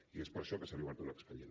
i és per això que se li ha obert un expedient